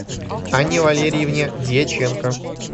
анне валериевне дьяченко